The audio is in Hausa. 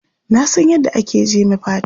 Na san yadda ake jeme fata.